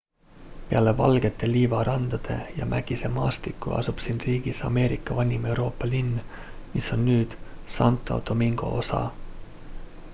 peale valgete liivarandade ja mägise maastiku asub siin riigis ameerika vanim euroopa linn mis on nüüd santo domingo osa